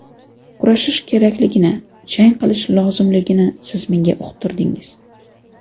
Kurashish kerakligini, jang qilish lozimligini siz menga uqtirdingiz.